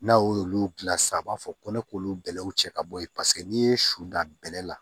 N'a y'olu dilan sisan a b'a fɔ ko ne k'olu bɛlɛw cɛ ka bɔ ye paseke n'i ye su dan bɛlɛ la